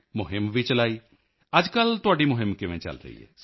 ਮੁਹਿੰਮ ਵੀ ਚਲਾਈ ਅੱਜਕੱਲ੍ਹ ਤੁਹਾਡੀ ਮੁਹਿੰਮ ਕੈਂਪੇਨ ਕਿਵੇਂ ਚਲ ਰਹੀ ਹੈ